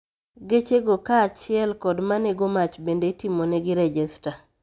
Geche go kaa chiel kod manego mach bende itimonegi rejesta